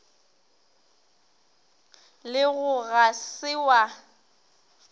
le go ga se wa